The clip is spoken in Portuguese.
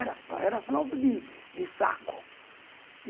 Era fralda de de saco.